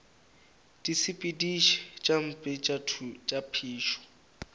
disepediši tše mpe tša phišo